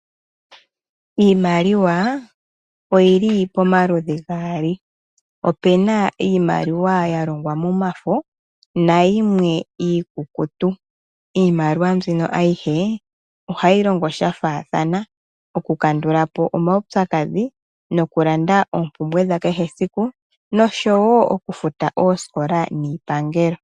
Iimaliwa oyili pomaludhi gaali. Opena iimaliwa yalongwa momafo nayimwe iikukutu. Iimaliwa mbino ayihe ohayi longo sha faathana okukandula po omaupyakadhi nokulanda oompumbwe dha kehe siku noshowo okufuta oosikola niipangelo.